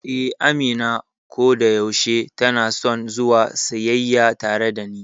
Eh, Amina kodayaushe tanason zuwa siyayya tare dani.